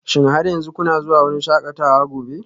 Shin har yanzu kuna zuwa wurin shakatawa gobe?